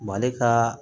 Mali ka